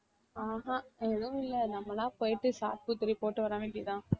ஆஹ் ஹம் எதுவும் இல்ல நம்மளா போயிட்டு saa boo three போட்டு வர வேண்டியதுதான்